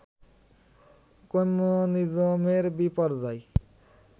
কম্যুনিজমের বিপর্যয়